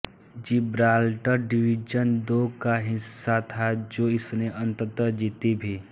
Gibraltar division दो का हिस्सा था जो इसने अंततः जीती भी